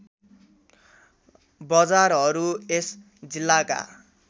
बजारहरू यस जिल्लाका